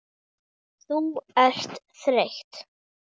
Þú ert þreytt.